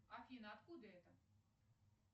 афина откуда это